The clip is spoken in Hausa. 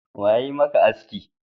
Wa yayi maka aski?